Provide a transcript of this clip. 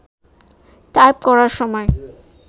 type করার সময়